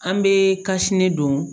An bɛ don